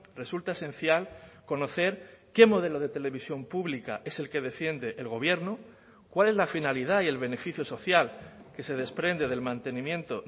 resulta esencial conocer qué modelo de televisión pública es el que defiende el gobierno cuál es la finalidad y el beneficio social que se desprende del mantenimiento